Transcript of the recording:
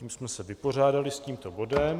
Tím jsme se vypořádali s tímto bodem.